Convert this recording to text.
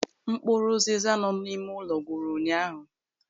Mkpụrụ ụziza nọ n'ime ụlọ gwụrụ ụnyaahụ.